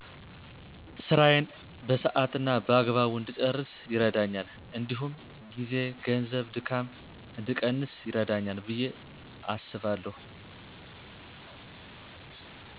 ስራየን በሰሀት እና በአግባቡ እድጨረስ ይርደኛል እዲሁም ጊዜ፣ ገንዘብ፣ ድካም እድቀንስ ይረዳኛል። ብየ አስባለሁ።